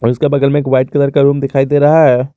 उसका बगल में एक वाइट कलर का रूम दिखाई दे रहा है।